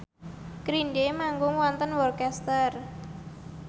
Green Day manggung wonten Worcester